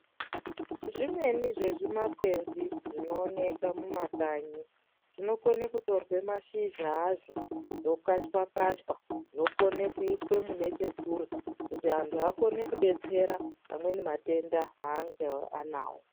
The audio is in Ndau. Zvimweni zvezvimakwenzi zvinoonekwa mumakanyi zvinokone kutorwe mashizha azvo zvokachwa kachwa zvokone kuiswe mune chekurya kuti antu akone kudetsera anweni matenda aange anawo.